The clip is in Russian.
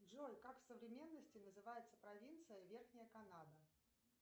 джой как в современности называется провинция верхняя канада